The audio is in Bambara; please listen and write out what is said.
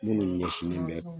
Minnu ɲɛsinen bɛ